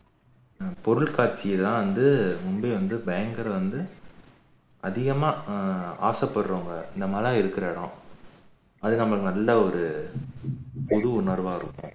ஹம் பொருள் காட்சிதான் வந்து மும்பை வந்து பயங்கர வந்து அதிகமா ஆசைப்படுறவங்க இந்தமாறி எல்லாம் இருக்கிற இடம் அது நம்மளுக்கு நல்ல ஒரு புது உணர்வா இருக்கும்